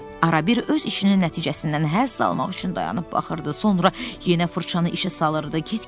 Arabir öz işinin nəticəsindən həzz almaq üçün dayanıb baxırdı, sonra yenə fırçanı işə salırdı.